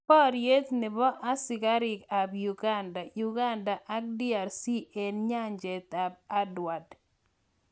Boryeet nepo asikariik ap. Uganda ak DRC eng nyanjeet ap Edward.